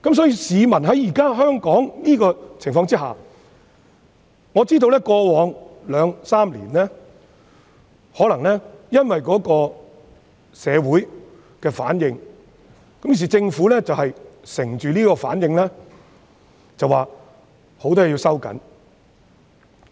因此，在香港現時的情況下，在過往兩三年，可能因為社會的反應，政府便趁機表示要對很多方面作出收緊。